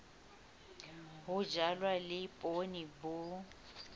ho jalwa le poone bo